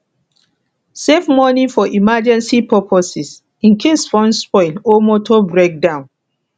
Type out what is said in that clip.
save money for emergency purposes incase phone spoil or motor break down